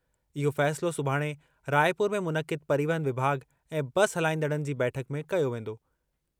इहो फ़ैसिलो सुभाणे राइपुर में मुनक़िद परिवहन विभाॻु ऐं बस हलाईंदड़नि जी बैठक में कयो वेंदो।